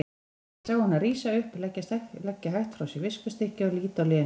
Ég sá hana rísa upp, leggja hægt frá sér viskustykkið og líta á Lenu.